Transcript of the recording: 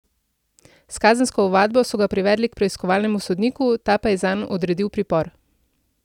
S kazensko ovadbo so ga privedli k preiskovalnemu sodniku, ta pa je zanj odredil pripor.